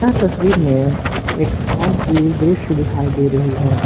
यह तस्वीर में एक हाल की दृश्य दिखाई दे रही है।